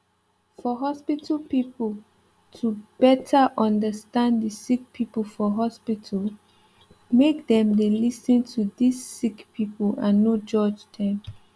for hospital pipo to better understand the sick pipo for hospital make dem dey lis ten to dis sick pipo and no judge dem